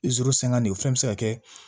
sɛŋɛn de o fɛnɛ be se ka kɛ